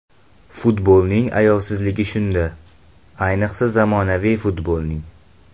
Futbolning ayovsizligi shunda, ayniqsa zamonaviy futbolning.